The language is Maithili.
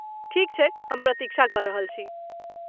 ठीक छै , हम प्रतीक्षा कऽ रहल छी।